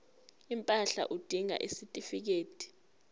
impahla udinga isitifikedi